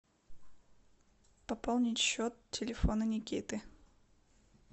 пополнить счет телефона никиты